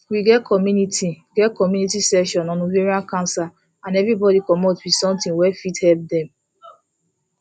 we get community get community session on ovarian cancer and everybody commot with something wey fit help dem